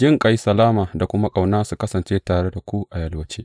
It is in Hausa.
Jinƙai, salama da kuma ƙauna, su kasance tare da ku a yalwace.